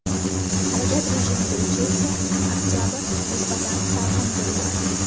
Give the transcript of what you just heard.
Harorat rejimi bo‘yicha esa oktabr nisbatan salqin keldi.